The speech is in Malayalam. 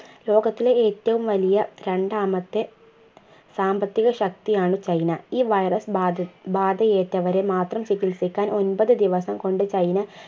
ലോകത്തിലെ ഏറ്റവും വലിയ രണ്ടാമത്തെ സാമ്പത്തിക ശക്തിയാണ് ചൈന ഈ virus ബാത് ബാധയേറ്റവരെ മാത്രം ചികിൽസിക്കാൻ ഒമ്പത് ദിവസം കൊണ്ട് ചൈന